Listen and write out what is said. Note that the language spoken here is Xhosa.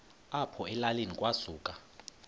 apho elalini kwasuka